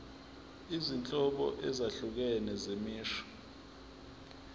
izinhlobo ezahlukene zemisho